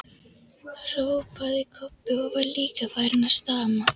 hrópaði Kobbi og var líka farinn að stama.